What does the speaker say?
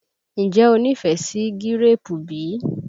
Ǹjẹ́ o nífẹ̀ẹ́ sí gíréèpù bí?